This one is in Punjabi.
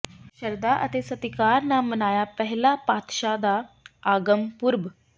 ਸ਼ਰਧਾ ਅਤੇ ਸਤਿਕਾਰ ਨਾਲ ਮਨਾਇਆ ਪਹਿਲੇ ਪਾਤਸ਼ਾਹ ਦਾ ਆਗਮਨ ਪੁਰਬ